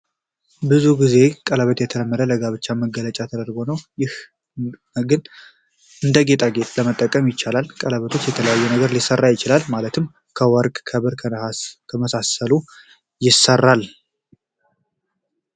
ብዙ ጊዜ ቀለበት የተለመደው ለጋብቻ መገለጫ ተደርጎ ነው። ነገር ግን እንደ ጌጣጌጥም መጠቀም ይቻላል። ቀለበት ከተለያየ ነገር ሊሰራ ይችላል ማለትም ከወርቅ፣ ከብር፣ ከነሃስ እና ከመሳሰሉት ይሰራል።